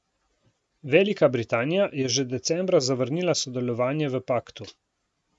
Velika Britanija je že decembra zavrnila sodelovanje v paktu.